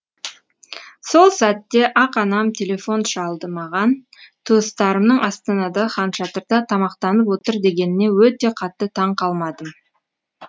сол сәтте ақ анам телефон шалды маған туыстарымның астанадағы хан шатырда тамақтанып отыр дегеніне өте қатты таң қалмадым